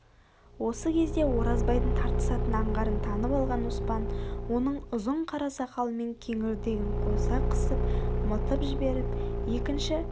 осы кезде оразбайдың тартысатын аңғарын танып алған оспан оның ұзын қара сақалымен кеңірдегін қоса қысып мытып жіберіп екінші